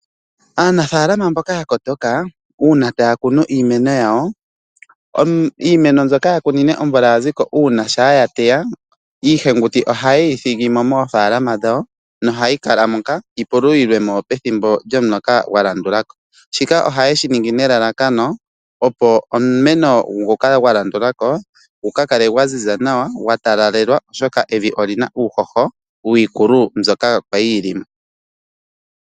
Aanafaalama mboka ya kotoka uuna taya kunu iimeno yawo, iimeno mbyoka ya kunine onvula yaziko uuna shampa ya teya iihenguti oha yeyi thigimo moofalama dhawo nohayi kala moka yi pululimwemo pethimbo lyomulola gwa landulako. Shika ohayeshi ningi nelalakano opo omumeno ngoka gwa landulako gu kakale gwa ziza nawa gwa talalelwa oshoka evi olina uuhoho wiikulu mbyoka kwali yi limo.